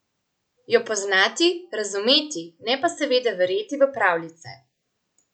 Jo poznati, razumeti, ne pa seveda verjeti v pravljice.